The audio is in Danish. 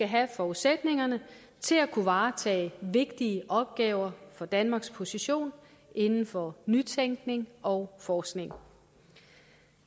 have forudsætningerne til at kunne varetage vigtige opgaver for danmarks position inden for nytænkning og forskning